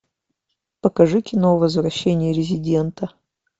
покажи кино возвращение резидента